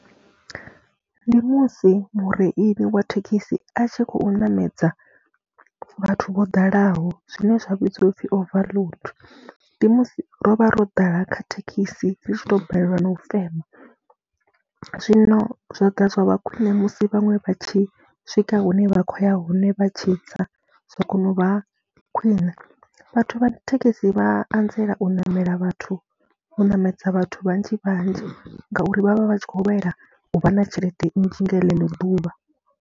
Ndi musi mureili wa thekhisi a tshi khou ṋamedza vhathu vho dalaho zwine zwa vhidziwa u pfhi overload, ndi musi ro vha ro ḓala kha thekhisi ri tshi tou balelwa na u fema. Zwino zwa ḓa zwa vha khwine musi vhaṅwe vha tshi swika hune vha khou ya hone vha tshi tsa, zwa kona u vha khwine vhathu vha thekhisi vha a anzela u ṋamela vhathu, u ṋamedza vhathu vhanzhi vhanzhi ngauri vha vha vha tshi khou lwela u vha na tshelede nnzhi nga ḽeḽo ḓuvha.